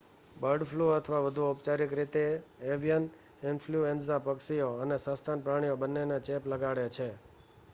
bird flu અથવા વધુ ઔપચારિક રીતે એવિયન ઈન્ફલ્યુએન્ઝા પક્ષીઓ અને સસ્તન પ્રાણીઓ બંનેને ચેપ લગાડે છે